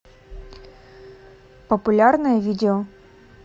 популярное видео